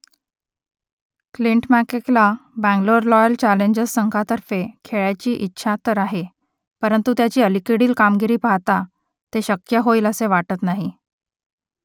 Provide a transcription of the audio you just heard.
Clint मॅककेला Bangalore Royal Challengers संघातर्फे खेळायची इच्छा तर आहे , परंतु त्याची अलीकडील कामगिरी पाहता ते शक्य होईल असे वाटत नाही